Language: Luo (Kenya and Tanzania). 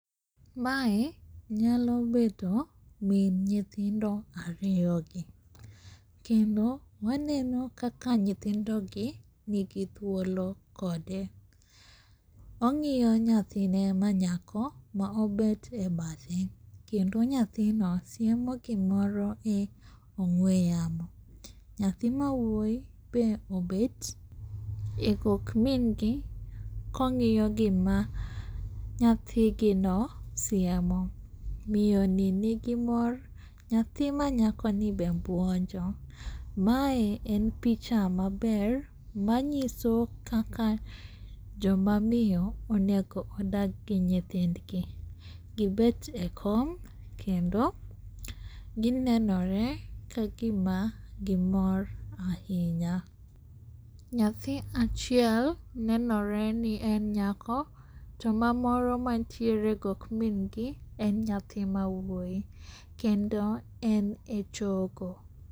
Mae nyalo bedo min nyithindo ariyogi, kendo waneno kaka nyithindogi nigi thuolo kode. Ong'iyo nyathine manyako maobet e badhe kendo nyathino siemo gimoro e ong'we yamo. Nyathi mawuoyi be obet e gok min gi kong'iyo gima nyathigino siemo, miyoni nigi mor, nyathi manyakoni be buonjo. Mae en picha maber manyiso kaka jomamiyo onego odag gi nyithindgi gibet e kom kendo ginenore kagima gimor ahinya. Nyathi achiel nenore ni en nyako, to mamoro mantiere gok min gi en nyathi mawuoyi, kendo en e chogo.